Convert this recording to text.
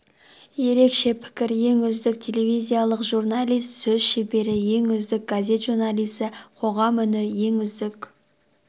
ерекше пікір ең үздік телевизиялық журналист сөз шебері ең үздік газет журналисі қоғам үні ең үздік